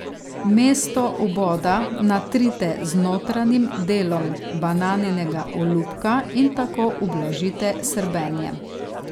Mesto vboda natrite z notranjim delom bananinega olupka in tako ublažite srbenje.